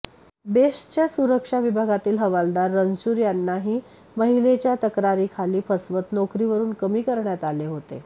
बेस्टच्या सुरक्षा विभागातील हवालदार रणशूर यांनाही महिलेच्या तक्रारी खाली फसवत नोकरीवरून कमी करण्यात आले होते